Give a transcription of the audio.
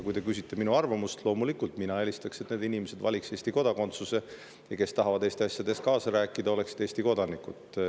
Kui te küsite minu arvamust, siis mina loomulikult eelistaks, et need inimesed valiks Eesti kodakondsuse, ja et need, kes tahavad Eesti asjades kaasa rääkida, oleksid Eesti kodanikud.